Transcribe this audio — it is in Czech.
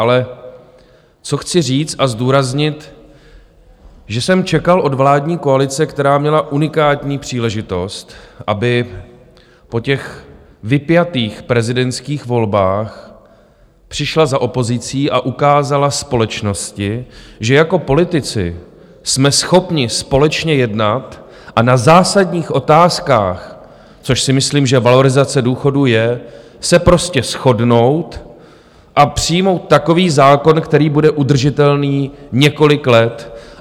Ale co chci říct a zdůraznit, že jsem čekal od vládní koalice, která měla unikátní příležitost, aby po těch vypjatých prezidentských volbách přišla za opozicí a ukázala společnosti, že jako politici jsme schopni společně jednat a na zásadních otázkách, což si myslím, že valorizace důchodů je, se prostě shodnout a přijmout takový zákon, který bude udržitelný několik let.